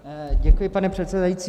Děkuji, pane předsedající.